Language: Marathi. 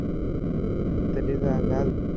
तरी जा घाल